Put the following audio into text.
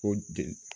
Ko de